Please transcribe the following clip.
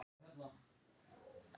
Ísadóra, hvað heitir þú fullu nafni?